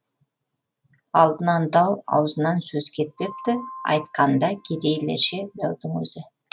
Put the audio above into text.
алдынан дау аузынан сөз кетпепті айтқанда керейлерше дәудің өзі